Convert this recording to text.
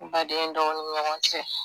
Baden, dɔgɔnin ni ɲɔgɔn cɛ